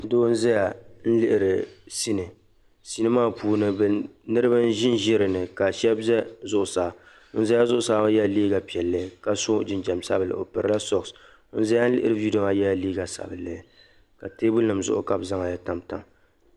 Doo n zaya n liɣiri sinii sinii maa puuni bɛ niriba n zi zi dinni ka sheb' za zuɣu saa wun zaya zuɣu saa ŋɔ ya la liiga piɛlli ka so jinjam sabinli on pirila sɔks wun zaya liɣiri viidio maa yala liiga sabinli ka teebuli nim zuɣu ka bɛ zaŋ ya tam tam